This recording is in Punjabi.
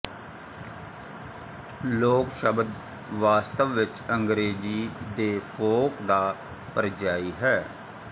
ਲੋਕ ਸ਼ਬਦ ਵਾਸਤਵ ਵਿੱਚ ਅੰਗਰੇਜ਼ੀ ਦੇ ਫੋਕ ਦਾ ਪਰਿਯਾਇ ਹੈ